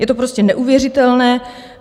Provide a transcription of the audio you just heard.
Je to prostě neuvěřitelné.